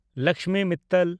Lakshmi Mittal